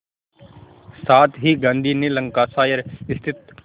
साथ ही गांधी ने लंकाशायर स्थित